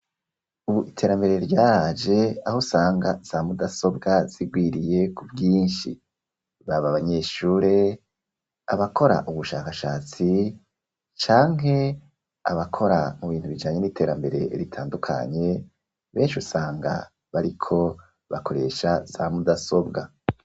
Ubu iterambere ryaraje aho usanga za mudasobwa zigwiriye ku bwinshi ,baba abanyeshure abakora ubushakashatsi canke abakora mu bintu bijanye n'iterambere ritandukanye benshi usanga bariko bakoresha za mudasobwa.